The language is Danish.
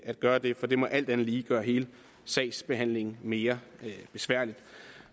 at gøre det for det må alt andet lige gøre hele sagsbehandlingen mere besværlig